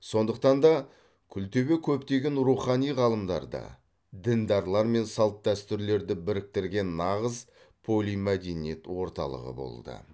сондықтан да күлтөбе көптеген рухани ғалымдарды діндарлар мен салт дәстүрлерді біріктірген нағыз полимәдениет орталығы болды